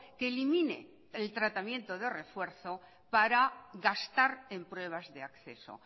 que elimine el tratamiento de refuerzo para gastar en pruebas de acceso